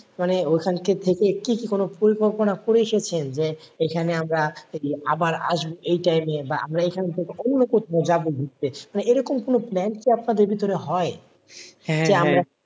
মানে ঐখানকার থেকে কি কি কোনো পরিকল্পনা করে এসেছেন যে এখানে আমরা আমরা আবার আসবো এই time এ বা আমরা এখান থেকে অন্য কোথাও যাবো ঘুরতে মানে এরকম কোন plan কি আপনাদের ভিতরে হয়?